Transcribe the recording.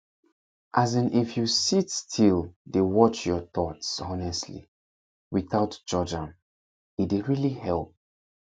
as in if you sit still dey watch your thoughts honestly without judge am e really dey help